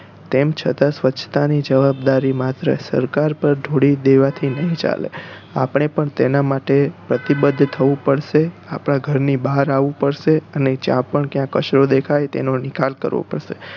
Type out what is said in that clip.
તેમ છતાં સ્વચ્છતા ની જવાબદારી માત્ર સરકાર પર ઢોળી દેવા થી નહિ ચાલે આપણે પણ તેના માટે પ્રતિબદ્ધ થવું પડશે આપણા ઘર બહાર આવવું પડશે અને જ્યાં પણ ત્યાં કચરો દેખાઈ તેનો નિકાલ કરવો પડશે